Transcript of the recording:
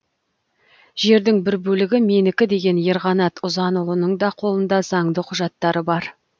жердің бір бөлігі менікі деген ерқанат ұзанұлының да қолында заңды құжаттары бар